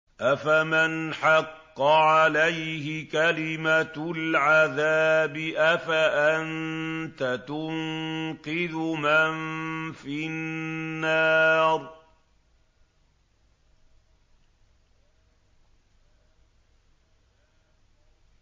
أَفَمَنْ حَقَّ عَلَيْهِ كَلِمَةُ الْعَذَابِ أَفَأَنتَ تُنقِذُ مَن فِي النَّارِ